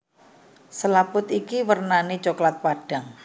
Selaput iki wernané coklat padhang